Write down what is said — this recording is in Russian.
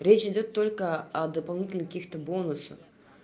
речь идёт только о дополнительных каких-то бонусах